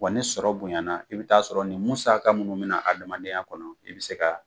Wa ni sɔrɔ bonya na i bi ta'a sɔrɔ nin musaka munnu bi na adamadenya kɔnɔ i bi se ka